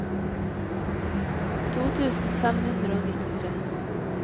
to tusen fem hundre og nittitre